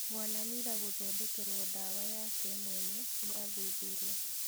Mwana Mila gũthondekerwo ndawa yake mwene nĩ athuthuria.